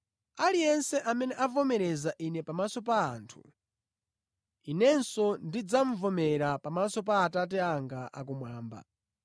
“Aliyense amene avomereza Ine pamaso pa anthu, Inenso ndidzavomereza pamaso pa Atate anga akumwamba.